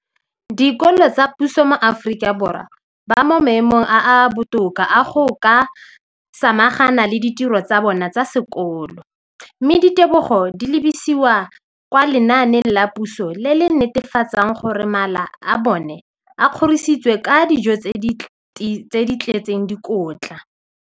Dikolo tsa puso mo Aforika Borwa ba mo maemong a a botoka a go ka samagana le ditiro tsa bona tsa sekolo, mme ditebogo di lebisiwa kwa lenaaneng la puso le le netefatsang gore mala a bona a kgorisitswe ka dijo tse di tletseng dikotla.